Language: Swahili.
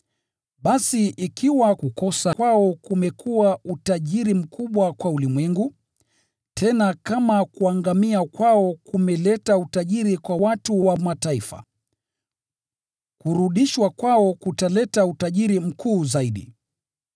Basi ikiwa kukosa kwao kumekuwa utajiri mkubwa kwa ulimwengu, tena kama kuangamia kwao kumeleta utajiri kwa watu wa Mataifa, kurudishwa kwao kutaleta utajiri mkuu zaidi.